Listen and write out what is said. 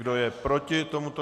Kdo je proti tomuto